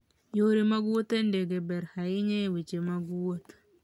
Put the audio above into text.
Yore mag wuoth e ndege ber ahinya e weche mag wuoth.